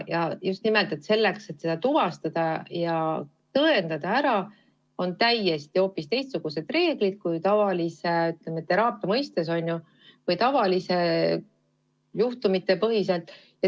Selleks, et seda tuvastada ja tõendada, on hoopis teistsugused reeglid kui tavalise teraapia või tavaliste juhtumite korral.